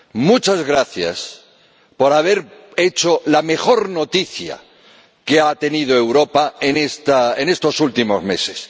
Muchas gracias por haber dado la mejor noticia que ha tenido Europa en estos últimos meses